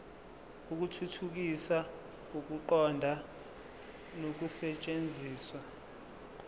ukuthuthukisa ukuqonda nokusetshenziswa